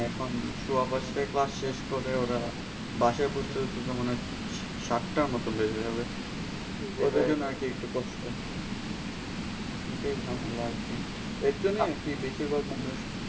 হ্যাঁ এখন সোয়া পাঁচটায় class করে ওরা বাসায় পৌঁছাতে পৌঁছাতে মণে হয় সাত টা মত বেজে যাবে ওদের জন্য আরকি একটু কষ্ট এটাই ঝামেলা আর কি এর জন্যই আর কি বেশির ভাগ মানুষ